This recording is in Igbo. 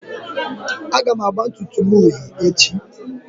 Aga m agba ntutu m uhie echi